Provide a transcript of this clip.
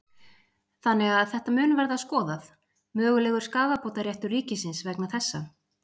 Þannig að þetta mun verða skoðað, mögulegur skaðabótaréttur ríkisins vegna þessa?